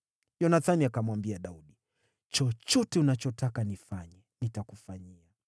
Yonathani akamwambia Daudi, “Chochote unachotaka nifanye, nitakufanyia.”